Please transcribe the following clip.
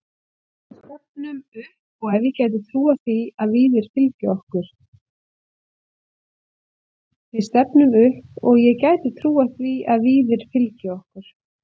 Við stefnum upp og ég gæti trúað því að Víðir fylgi okkur.